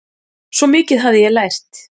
Svo mikið hafði ég lært.